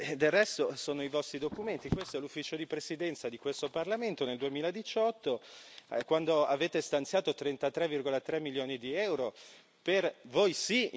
Del resto sono i vostri documenti, questo è l'Ufficio di presidenza di questo Parlamento nel 2018 avete stanziato 33,3 milioni di euro per voi sì!